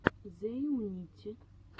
зэйунити